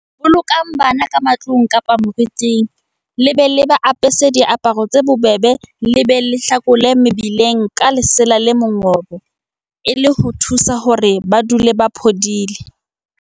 Bolokang bana ka matlung kapa moriting, le ba apese diaparo tse bobebe le be le ba hlakole mebeleng ka lesela le mongobo e le ho ba thusa hore ba dule ba phodile.